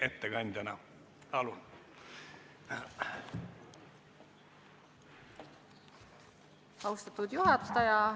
Austatud juhataja!